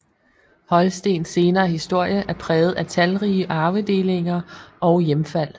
Holstens senere historie er præget af talrige arvedelinger og hjemfald